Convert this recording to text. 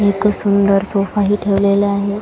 एक सुंदर सोफाही ठेवलेला आहे.